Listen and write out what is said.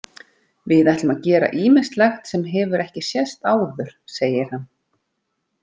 Við ætlum að gera ýmislegt sem hefur ekki sést áður segir hann.